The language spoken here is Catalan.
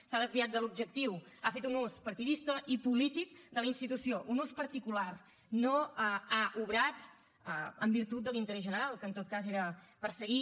s’ha desviat de l’objectiu ha fet un ús partidista i polític de la institució un ús particular no ha obrat en virtut de l’interès general que en tot cas era perseguir